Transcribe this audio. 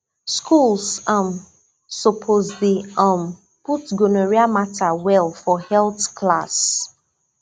schools um suppose dey um put gonorrhea matter well for health class